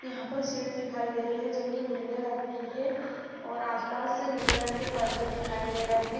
यहाँ पे शीट दिखाई दे रही है और आस-पास नीले रंग के पर्दे दिखाई दे रहे है।